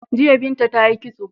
Jiya Binta ta yi kitso.